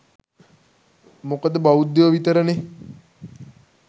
මොකද බෞද්ධයො විතරනේ